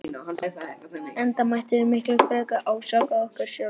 Enda mættum við miklu frekar ásaka okkur sjálf.